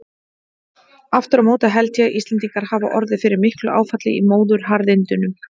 Aftur á móti held ég að Íslendingar hafi orðið fyrir miklu áfalli í móðuharðindunum.